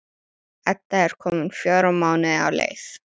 Edda er komin fjóra mánuði á leið.